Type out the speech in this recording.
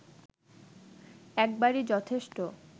একবারই যথেষ্ট